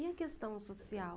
E a questão social?